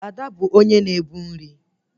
Ada bụ onye na-ebu nri